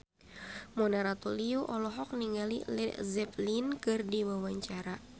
Mona Ratuliu olohok ningali Led Zeppelin keur diwawancara